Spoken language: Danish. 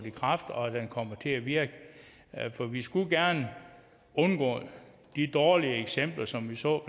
i kraft og den kommer til at virke for vi skulle gerne undgå de dårlige eksempler som vi så